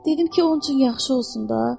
Dedim ki, onun üçün yaxşı olsun da.